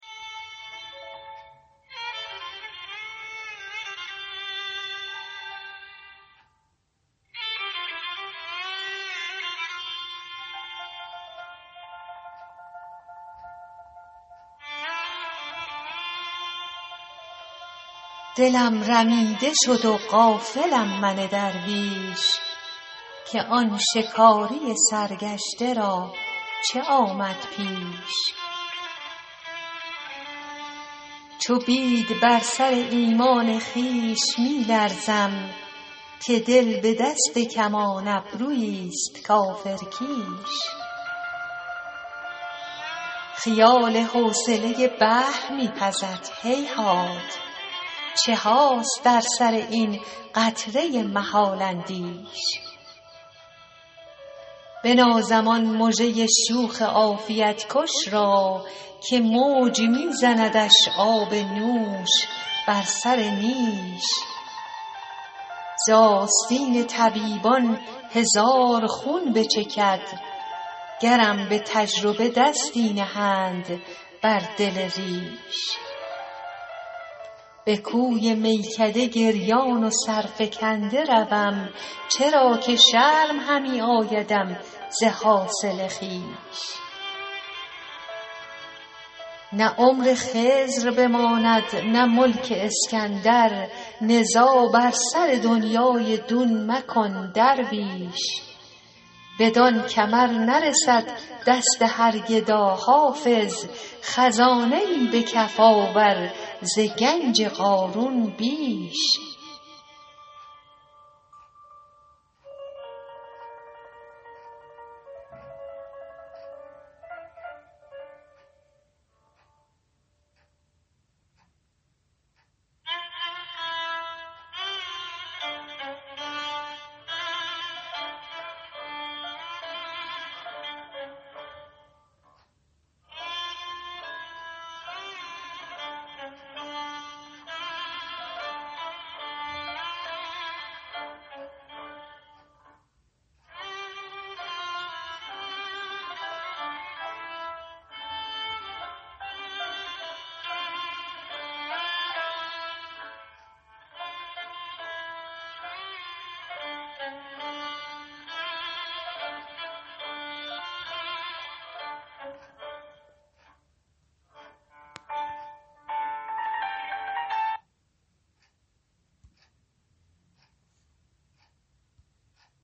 دلم رمیده شد و غافلم من درویش که آن شکاری سرگشته را چه آمد پیش چو بید بر سر ایمان خویش می لرزم که دل به دست کمان ابرویی ست کافرکیش خیال حوصله بحر می پزد هیهات چه هاست در سر این قطره محال اندیش بنازم آن مژه شوخ عافیت کش را که موج می زندش آب نوش بر سر نیش ز آستین طبیبان هزار خون بچکد گرم به تجربه دستی نهند بر دل ریش به کوی میکده گریان و سرفکنده روم چرا که شرم همی آیدم ز حاصل خویش نه عمر خضر بماند نه ملک اسکندر نزاع بر سر دنیی دون مکن درویش بدان کمر نرسد دست هر گدا حافظ خزانه ای به کف آور ز گنج قارون بیش